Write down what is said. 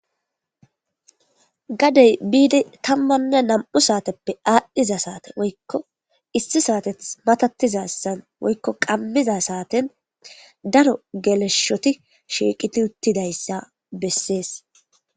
Gadey biidi tammanne nam7u saateppe aadhdhiza saate woykko issi saateth matatizassan woykko qammiza saaten daro geleshoti shiiqiti uttidayssa bessees.